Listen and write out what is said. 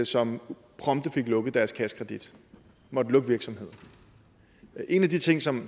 som prompte fik lukket deres kassekredit og måtte lukke virksomheden en af de ting som